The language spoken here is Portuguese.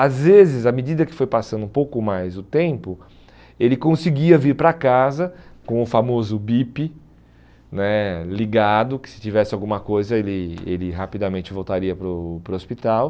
Às vezes, à medida que foi passando um pouco mais o tempo, ele conseguia vir para casa com o famoso bip né ligado, que se tivesse alguma coisa ele ele rapidamente voltaria para o para o hospital.